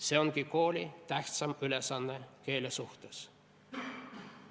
See ongi kooli tähtsaim ülesanne keele suhtes.